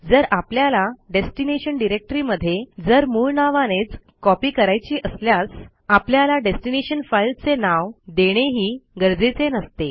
जर आपल्याला डेस्टिनेशन डिरेक्टरीमध्ये जर मूळ नावानेच कॉपी करायची असल्यास आपल्याला डेस्टीनेशन फाईलचे नाव देणेही गरजेचे नसते